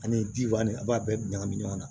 Ani jiwa ni a b'a bɛɛ ɲagami ɲɔgɔn na